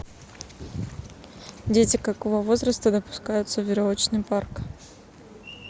дети какого возраста допускаются в веревочный парк